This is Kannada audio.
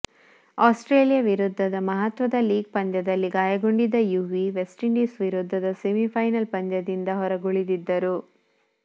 ಆಸ್ಟ್ರೇಲಿಯ ವಿರುದ್ಧದ ಮಹತ್ವದ ಲೀಗ್ ಪಂದ್ಯದಲ್ಲಿ ಗಾಯಗೊಂಡಿದ್ದ ಯುವಿ ವೆಸ್ಟ್ಇಂಡೀಸ್ ವಿರುದ್ಧದ ಸೆಮಿ ಫೈನಲ್ ಪಂದ್ಯದಿಂದ ಹೊರಗುಳಿದಿದ್ದರು